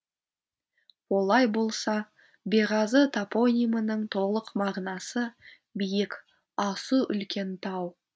олай болса беғазы топонимінің толық мағынасы биік асу үлкен тау